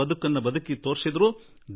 ರಾಧಾಕೃಷ್ಣನ್ ಜೀ ಬಾಳಿ ತೋರಿಸಿಕೊಟ್ಟರು